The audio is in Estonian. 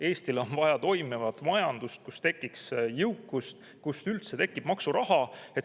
Eestil on vaja toimivat majandust, kus tekiks jõukust, kus tekiks üldse maksuraha.